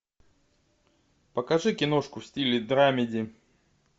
покажи киношку в стиле драмеди